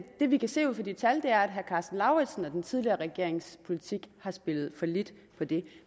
det vi kan se ud fra de tal er at herre karsten lauritzens og den tidligere regerings politik har spillet fallit på det